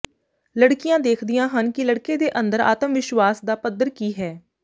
ਲੜਕੀਆਂ ਦੇਖਦੀਆਂ ਹਨ ਕਿ ਲੜਕੇ ਦੇ ਅੰਦਰ ਆਤਮਵਿਸ਼ਵਾਸ ਦਾ ਪੱਧਰ ਕੀ ਹੈ